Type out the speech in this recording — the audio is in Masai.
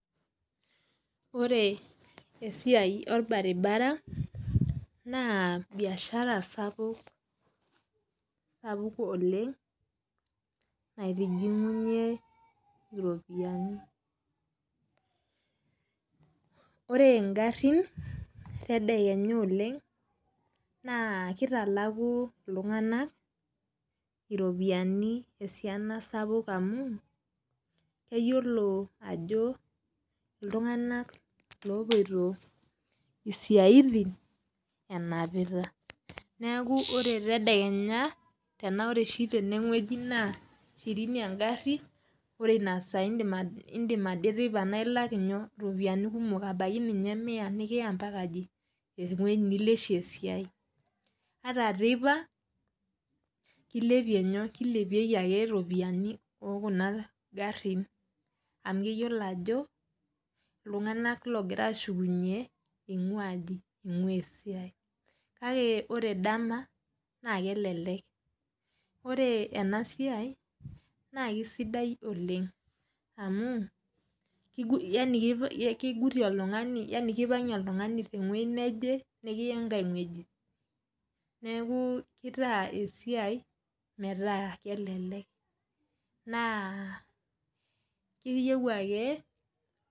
Ore esiaia orbaribara na biashara sapuk oleng naitijingunye iropiyiani ore ngarin tedekenya oleng na kitalaku ltunganak ropiyanu sapuk oleng amu keyiolo ajo ltunganak opoito siaitin enapita neaku ore tedekenya tanaaore oreoshi tenewueji na shirini engari naidim ade teipa nilaj ropiyani kumok abaki ninye mia nikiya ambaka ewueji nikiya esiai ore teipa kilepieki ake ropiyiani ekuna garin amu keyiolo ajo ltunganak ogir ashukunye ingua esiai na ore dama ma kelelek ore enasiai na kesidai oleng amu kigutie oltungani tewueji neje nikiya enkai wueji nitaa esiai metaa kelelek na iyieu ake.